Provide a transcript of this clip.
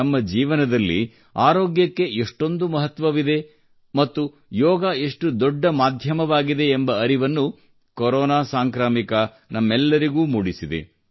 ನಮ್ಮ ಜೀವನದಲ್ಲಿ ಆರೋಗ್ಯಕ್ಕೆ ಎಷ್ಟೊಂದು ಮಹತ್ವವಿದೆ ಮತ್ತು ಯೋಗ ಎಷ್ಟು ದೊಡ್ಡ ಮಾಧ್ಯಮವಾಗಿದೆ ಎಂಬ ಅರಿವನ್ನು ಕೊರೋನಾ ಸಾಂಕ್ರಾಮಿಕ ನಮ್ಮೆಲ್ಲರಿಗೂ ಮೂಡಿಸಿದೆ